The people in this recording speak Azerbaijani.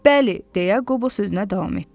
Bəli, deyə Qobo sözünə davam etdi.